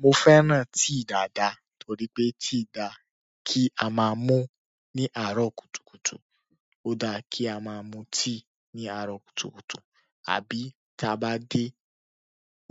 Mo fẹ́ràn tíì dáadáa torí pé tíì dá kí a máa mu ní àárọ̀ kùtùkùtù ó dá kí a máa mu tíì ní àárọ̀ kùtùkùtù àbí tí a bá dé